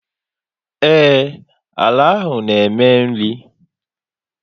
Ee, àlà áhù na eme nri